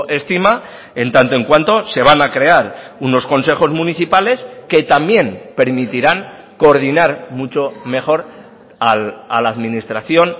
estima en tanto en cuanto se van a crear unos consejos municipales que también permitirán coordinar mucho mejor a la administración